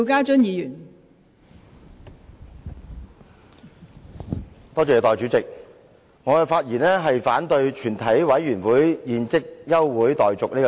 代理主席，我發言反對"全體委員會現即休會待續"的議案。